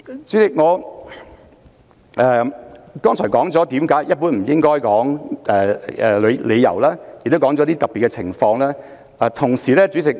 主席，我剛才已解釋了一般而言不應多說的理由，亦已提出了一些特別情況。